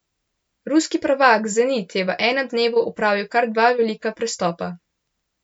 Ruski prvak Zenit je v enem dnevu opravil kar dva velika prestopa.